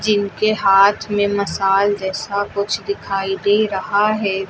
जिनके हाथ में मशाल जैसा कुछ दिखाई दे रहा है।